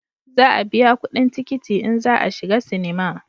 Za a biya kudin tikiti in za a shiga sinima